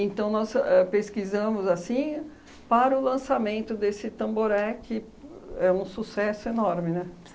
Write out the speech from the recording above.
Então, nós éh pesquisamos assim para o lançamento desse Tamboré, que é um sucesso enorme, né?